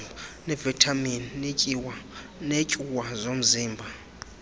nevitamin neetyuwa zomzimba